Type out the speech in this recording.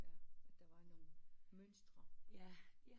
Der var nogle mønstre